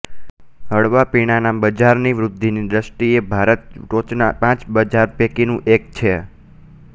હળવા પીણાંના બજારની વૃદ્ધિની દ્વષ્ટિએ ભારત ટોચના પાંચ બજાર પૈકીનું એક છે